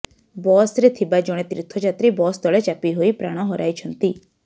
ବସରେ ଥିବା ଜଣେ ତୀର୍ଥଯାତ୍ରୀ ବସ ତଳେ ଚାପି ହୋଇ ପ୍ରାଣ ହରାଇଛନ୍ତି